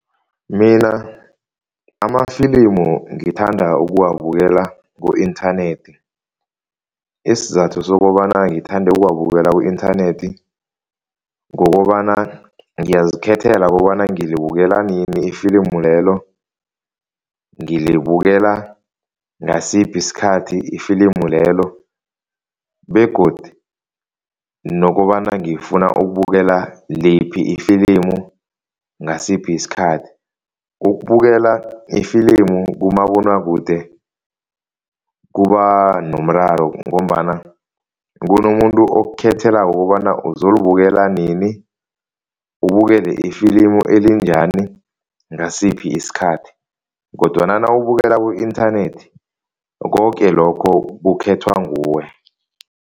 Mina amafilimu ngithanda ukuwabukela ku-inthanethi, isizathu sokobana ngithanda ukuwabukela ku-inthanethi ngokobana ngiyazikhethela kobana ngilibukela nini ifilimu lelo. ngilibukela ngasiphi isikhathi ifilimu lelo begodu nokobana ngifuna ukubukela liphi ifilimu, ngasiphi isikhathi. Ukubukela ifilimu kumabonwakude kuba nomraro ngombana kunomuntu okukhethelako kobana uzolibukela nini, ubukele ifilimu elinjani, ngasiphi isikhathi kodwana nawubukela ku-inthanethi koke lokho kukhethwa nguwe.